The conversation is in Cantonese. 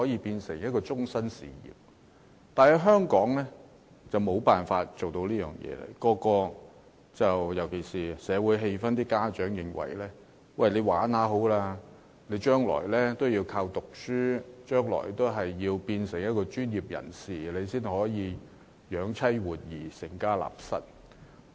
但是，在香港則無法做到這一點，尤其是社會氣氛方面，家長認為年輕人進行體育運動，玩玩就好，將來還是要藉讀書成為專業人士，那樣才可養妻活兒，成家立室。